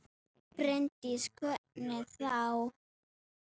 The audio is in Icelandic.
Bryndís: Hvernig þá?